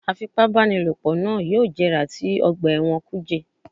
Afipábanílòpọ̀ náà yóò jẹrà sí ọgbà ẹ̀wọ̀n kùjé